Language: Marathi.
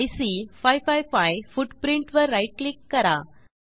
आयसी 555 footprintवर राईट क्लिक करा